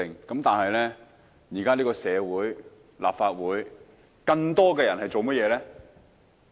但現在的社會、立法會中，更多的人在做甚麼呢？